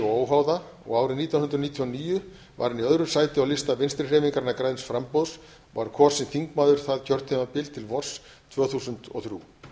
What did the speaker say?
óháða og árið nítján hundruð níutíu og níu var hann í öðru sæti á lista vinstri hreyfingarinnar græns framboðs og var kosinn þingmaður það kjörtímabil til vors tvö þúsund og þrjú